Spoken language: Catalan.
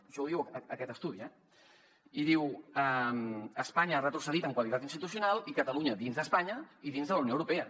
això ho diu aquest estudi eh i diu espanya ha retrocedit en qualitat institucional i catalunya dins d’espanya i dins de la unió europea